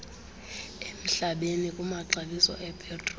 emhlabeni kumaxabiso epetroli